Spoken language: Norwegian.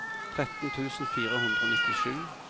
tretten tusen fire hundre og nittisju